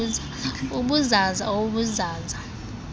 ubuzaza ob buzaza